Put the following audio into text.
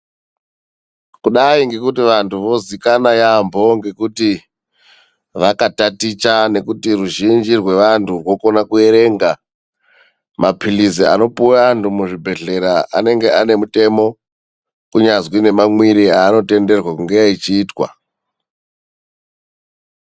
Kudai ngekuti vantu vozikanwa yamho ngekuti vakataticha nekuti ruzhinji rwevantu rwokona kuerenga mapirizi anopiwa vandu muzvibhedhlera inenge ine mitemo kunyazi nemamwirwe anotenderwe kunge achiitwa.